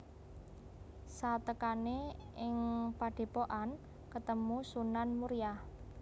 Satekané ing padhépokan ketemu Sunan Muria